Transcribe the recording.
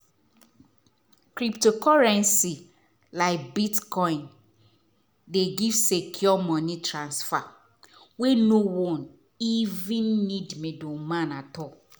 cryptocurrency like bitcoin dey give secure money transfer wey no one even need middleman at all.